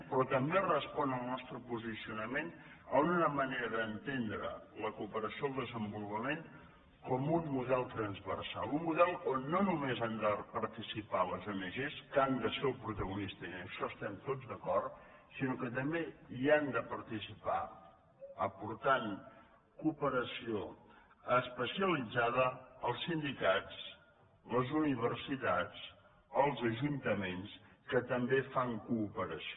però també respon el nostre posicionament a una manera d’entendre la cooperació al desenvolupament com un model transversal un model on no només han de par ticipar les ong que n’han de ser el protagonista i en això estem tots d’acord sinó que també hi han de participar aportant cooperació especialitzada els sindicats les universitats els ajuntaments que també fan coo pe ració